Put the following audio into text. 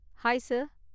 Hi sir.